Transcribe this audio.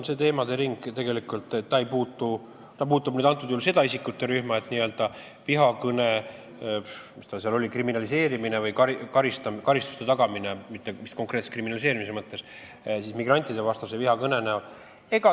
See teemade ring puudutab vihakõne, mis ta seal oli, kriminaliseerimist või karistuste tagamist, mitte vist konkreetselt kriminaliseerimise mõttes, migrantidevastase vihakõne puhul.